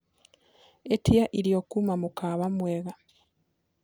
ĩtĩaĩrĩo kũma mũkawa mwega